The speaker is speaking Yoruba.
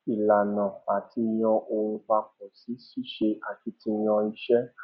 ìlànà àti yàn ohun papọ sí ṣíṣe akitiyan iṣẹ